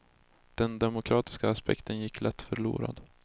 Den demokratiska aspekten gick lätt förlorad.